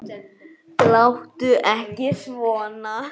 Láttu ekki svona